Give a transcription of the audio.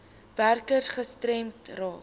werkers gestremd raak